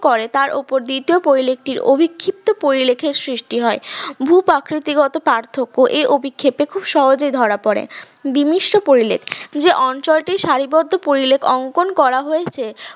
করে তার ওপর দ্বিতীয় পরিলেখটির অবিক্ষিপ্ত পরিলেখের সৃষ্টি হয় ভূ-প্রাকৃতিকগত পার্থক্য এই অভিক্ষেপে খুব সহজেই ধরা পড়ে বিমিশ্র পরিলেখ যে অঞ্চলটির সারিবদ্ধ পরিলেখ অঙ্কন করা হয়েছে